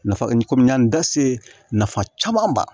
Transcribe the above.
Nafa kɔmi n y'a n da se nafa caman ba